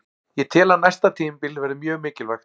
Ég tel að næsta tímabil verði mjög mikilvægt.